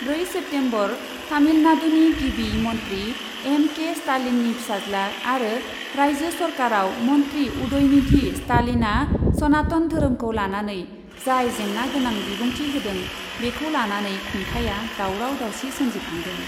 ब्रै सेप्तेम्बरः तामिलनाडुनि गिबि मन्थ्रि एम के स्टालिननि फिसाज्ला आरो रायजो सरकारआव मन्थ्रि उदयनिधि स्टालिनआ सनातन धोरोमखौ लानानै जाय जेंना गोनां बिबुंथि होदों, बेखौ लानानै खुंथाया दावराव दावसि सोमजिखांदों ।